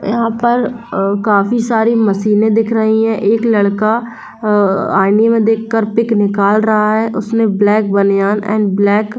यहा पर काफी सारे मशीने दिख रही है एक लकड़ा आईने मे देख कर पीक निकाल रहा है उसने ब्लैक बानियान एन ब्लैक--